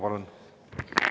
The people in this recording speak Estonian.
Palun!